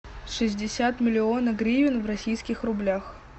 шестьдесят миллионов гривен в российских рублях